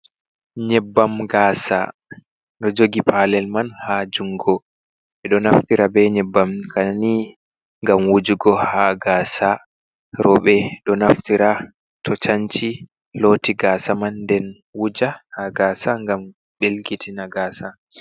Nyebbam ga'sa ɗo jogi pa'lel man ha jungo ɓeɗo naftira be nyebbam kani gam wujugo ha ga'sa roɓe ɗo naftira to chanci loti ga'sa man, nden wuja ha ga'sa gam ɗel kitina ga'sa.